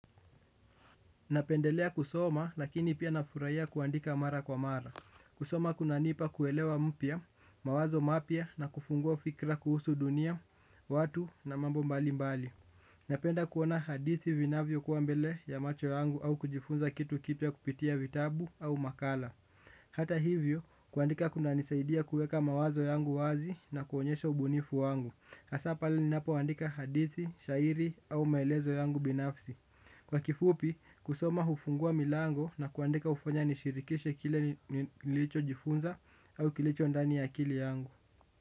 Napendelea kusoma lakini pia nafuraia kuandika mara kwa mara. Kusoma kunanipa kuelewa mpya, mawazo mapya na kufungua fikra kuhusu dunia, watu na mambo mbali mbali. Napenda kuona hadithi vinavyo kuwa mbele ya macho yangu au kujifunza kitu kipya kupitia vitabu au makala. Hata hivyo, kuandika kunanisaidia kueka mawazo yangu wazi na kuonyesha ubunifu wangu hasaa pale ninapo andika hadithi, shairi au maelezo yangu binafsi. Kwa kifupi, kusoma hufungua milango na kuandika ufanya nishirikishe kile nilicho jifunza au kilicho ndani ya akili yangu.